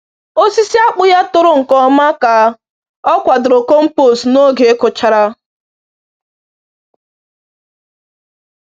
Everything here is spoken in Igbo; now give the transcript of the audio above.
Osisi akpụ ya toro nke ọma ka ọ kwadoro compost n’oge ịkụchara.